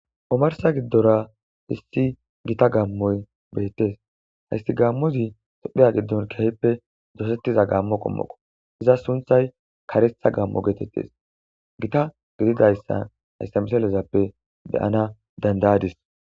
omarsa giddora issi gita gammoy beettes hayssi gammozi sopheya giddon kehippe dosettiza gammo qommoqo iza sunthay karetha gammo geetettes gita gididayssa haysa misilezappe be'ana danda'adis